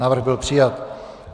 Návrh byl přijat.